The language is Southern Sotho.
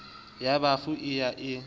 ya bafu e ya e